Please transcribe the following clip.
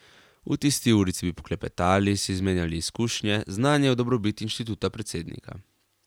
V tisti urici bi poklepetali, si izmenjali izkušnje, znanje v dobrobit instituta predsednika.